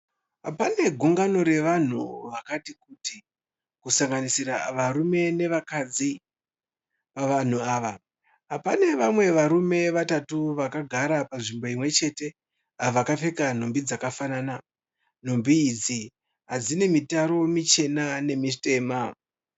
Pane gungano revanhu vakatikuti kusanganisira varume nevakadzi. Pavanhu ava, pane vamwe varume vatatu vakagara panzvimbo imwe chete, vakapfeka nhumbi dzakafanana. Nhumbi idzi dzine mitaro mitema nemichena.